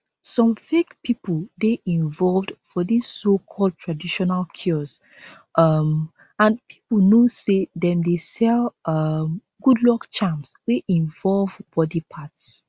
some fake pipo dey involved for dis socalled traditional cures um and pipo know say dem dey sell um good luck charms wey involve body parts